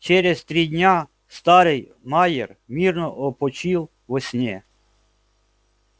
через три дня старый майер мирно опочил во сне